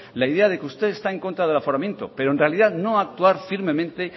la idea de que usted está en contra del aforamiento pero en realidad no a actuar firmemente